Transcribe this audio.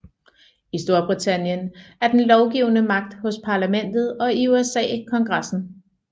I Storbritannien er den lovgivende magt hos Parlamentet og i USA Kongressen